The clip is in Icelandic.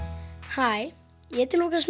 hæ ég heiti Lúkas